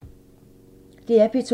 DR P2